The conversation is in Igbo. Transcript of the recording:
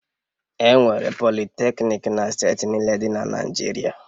Enwere Politecnik na steeti niile dị na Naịjirịa